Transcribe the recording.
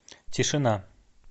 тишина